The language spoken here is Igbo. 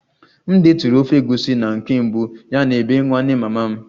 M detụrụ ofe egusi na nke mbụ ya n'bee nwanne mama m